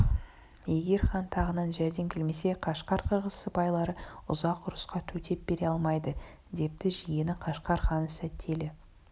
егер хан тағынан жәрдем келмесе қашқар қырғыз сыпайлары ұзақ ұрысқа төтеп бере алмайды депті жиені қашқар ханы сетәлі